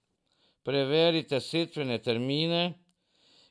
Preverite setvene termine!